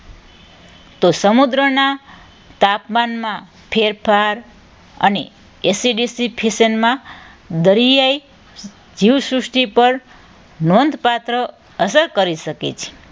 તો સમુદ્રના તાપમાનમાં ફેરફાર અને એસિડિ ફિશનમાં દરિયાઈ જીવસૃષ્ટિ પર નોંધપાત્ર અસર કરી શકે છે.